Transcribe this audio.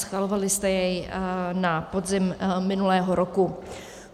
Schvalovali jste jej na podzim minulého roku.